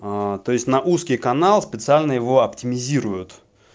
аа то есть на узкий канал специально его оптимизируют